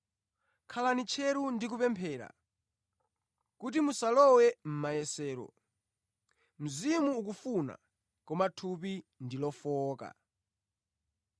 Khalani tcheru ndi kupemphera kuti musalowe mʼmayesero. Mzimu ukufuna, koma thupi ndi lofowoka.”